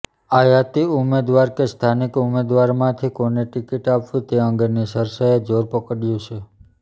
આયાતી ઉમેદવાર કે સ્થાનિક ઉમેદવારમાંથી કોને ટિકીટ આપવી તે અંગેની ચર્ચાએ જોર પકડ્યું છે